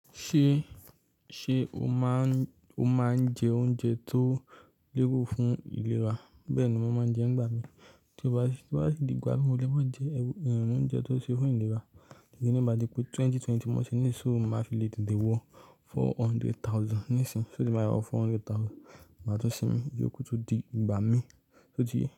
Ṣé, ṣe o máa ń, o máa ń jẹ oúnjẹ tó léwu fún ìlera? Bẹ́ẹ̀ni, mo máa ń jẹ nígbà mìí. Tí mo bá, tí mo bá di gbà mí léwá jẹ ẹrù oúnjẹ tó ṣe fún ìlera nítorí mo mọ̀ pé 2020 mo sì ní sọ máa fi le tètè wọ four hundred thousand nísìnyí, ṣó ti máa yọ four hundred thousand máa tó sinmi, ìyókù tún di ìgbà mi ṣó ti yé.